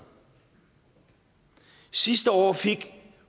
sidste år fik